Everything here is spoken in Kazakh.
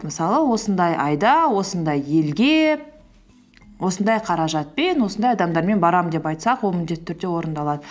мысалы осындай айда осындай елге осындай қаражатпен осындай адамдармен барамын деп айтсақ ол міндетті түрде орындалады